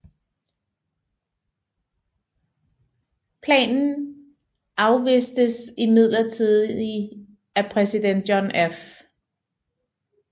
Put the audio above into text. Planen afvistes imidlertid af præsident John F